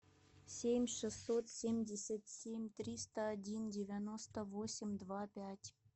семь шестьсот семьдесят семь триста один девяносто восемь два пять